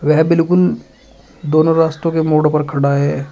यह बिल्कुल दोनों रास्तों के मोड़ पर खड़ा है।